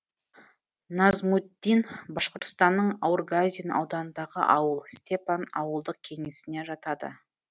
назмутдин башқұртстанның аургазин ауданындағы ауыл степан ауылдық кеңесіне жатады